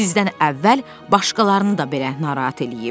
Sizdən əvvəl başqalarını da belə narahat eləyib.